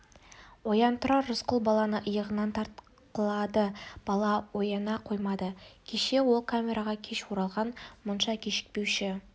оян тұрар рысқұл баланы иығынан тартқылады бала ояна қоймады кеше ол камераға кеш оралған мұнша кешікпеуші